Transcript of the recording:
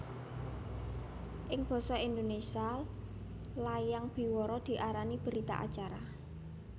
Ing basa Indonésia layang biwara diarani berita acara